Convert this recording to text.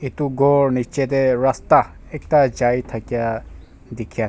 Etu kor nicha tey rasdha akda chai thakhi dekhi asa.